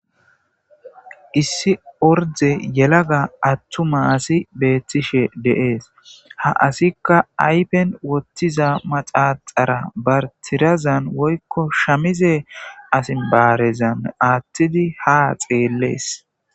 Issi orde yelaga attuma asi beettishe de'ees ha asikka aypen wottiza maxaaxara bartirazan woykko shamize asin baarezan aattidi ha xeellees.